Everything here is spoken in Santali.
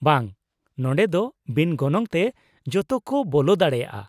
-ᱵᱟᱝ, ᱱᱚᱸᱰᱮ ᱫᱚ ᱵᱤᱱ ᱜᱚᱱᱚᱝ ᱛᱮ ᱡᱚᱛᱚ ᱠᱚ ᱵᱚᱞᱚ ᱫᱟᱲᱮᱭᱟᱜᱼᱟ ᱾